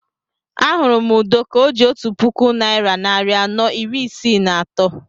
Ahụrụ m Udo ka o ji otu puku naira narị anọ iri isii na atọ